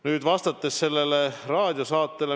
Nüüd sellest raadiosaatest.